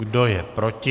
Kdo je proti?